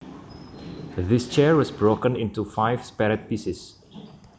This chair was broken into five separate pieces